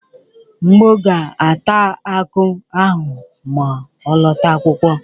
Mgbọ ga-ata akụ ahụ ma ọ lọta akwụkwọ.